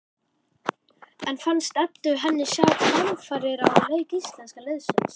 En fannst Eddu henni sjá framfarir á leik íslenska liðsins?